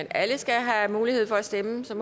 alle skal have mulighed for at stemme så